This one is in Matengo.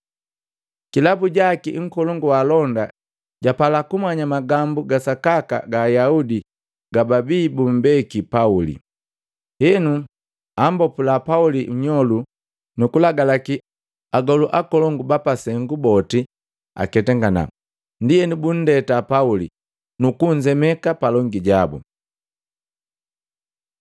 Kilabu jaki nkolongu wa alonda japala kumanya magambu ga sakaka ga Ayaudi gababii bumbeki Pauli. Henu ambopula Pauli nnyolu, nukulagalaki agolu akolongu ba pasengu boti aketangana. Ndienu bundeta Pauli, nukunzemeka palongi japa sengu.